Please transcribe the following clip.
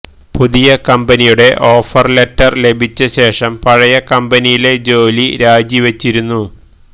പുതിയ കമ്പനിയുടെ offer letter ലഭിച്ച ശേഷം പഴയ കമ്പനിയിലെ ജോലി രാജിവച്ചിരുന്നു